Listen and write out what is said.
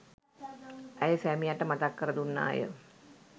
ඇය සැමියාට මතක් කර දුන්නාය.